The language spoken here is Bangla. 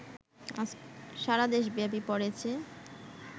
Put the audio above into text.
সারাদেশব্যাপী পড়েছে